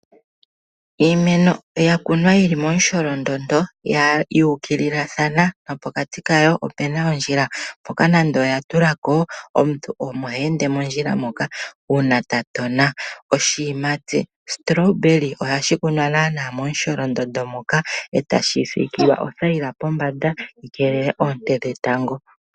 Iimeno yakunwa yili momusholondondo yuukililathana nopokati kawo opuna ondjila. Mpoka nande oya tulako omuntu omo heende mondjila moka uuna tatona oshiyimati strawberry. Ohashi kunwa naana momusholondondo moka etashi sikilwa othayila pombanda yi keelele oonte dhetango.